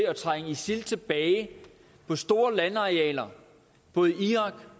at trænge isil tilbage på store landarealer både i irak